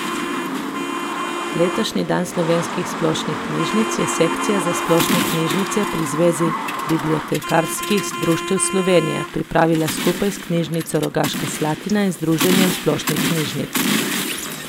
Letošnji dan slovenskih splošnih knjižnic je Sekcija za splošne knjižnice pri Zvezi bibliotekarskih društev Slovenije pripravila skupaj s Knjižnico Rogaška Slatina in Združenjem splošnih knjižnic.